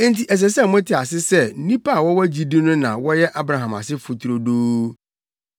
Enti ɛsɛ sɛ mote ase sɛ nnipa a wɔwɔ gyidi no na wɔyɛ Abraham asefo turodoo.